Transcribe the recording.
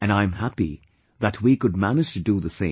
And I am happy that we could manage to do the same